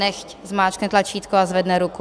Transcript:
Nechť zmáčkne tlačítko a zvedne ruku.